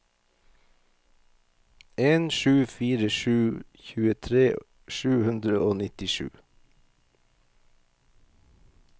en sju fire sju tjuetre sju hundre og nittisju